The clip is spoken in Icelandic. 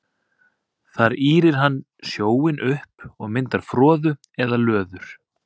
Þar ýrir hann sjóinn upp og myndar froðu eða löður.